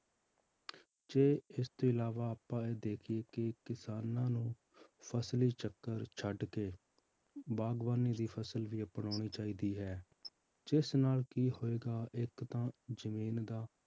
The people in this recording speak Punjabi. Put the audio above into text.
ਜੇ ਇਸ ਤੋਂ ਇਲਾਵਾ ਆਪਾਂ ਇਹ ਦੇਖੀਏ ਕਿ ਕਿਸਾਨਾਂ ਨੂੰ ਫਸਲੀ ਚੱਕਰ ਛੱਡ ਕੇ ਬਾਗ਼ਬਾਨੀ ਦੀ ਫਸਲ ਵੀ ਅਪਨਾਉਣੀ ਚਾਹੀਦੀ ਹੈ ਜਿਸ ਨਾਲ ਕੀ ਹੋਏਗਾ ਇੱਕ ਤਾਂ ਜ਼ਮੀਨ ਦਾ